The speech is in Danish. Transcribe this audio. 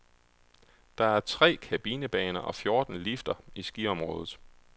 Der er tre kabinebaner og fjorten lifter i skiområdet.